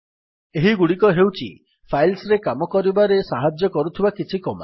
ଏହିଗୁଡ଼ିକ ହେଉଛି ଫାଇଲ୍ସରେ କାମ କରିବାରେ ସାହାଯ୍ୟ କରୁଥିବା କିଛି କମାଣ୍ଡ୍